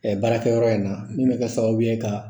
Ɛ baarakɛyɔrɔ in na min bɛ kɛ sababu ye ka